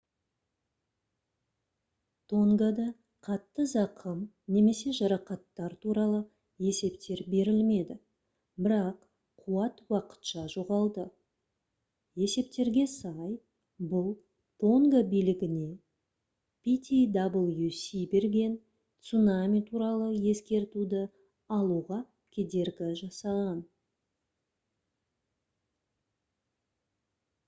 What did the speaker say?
тонгада қатты зақым немесе жарақаттар туралы есептер берілмеді бірақ қуат уақытша жоғалды есептерге сай бұл тонга билігіне ptwc берген цунами туралы ескертуді алуға кедергі жасаған